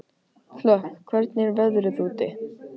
Hlökk, hvernig er veðrið úti?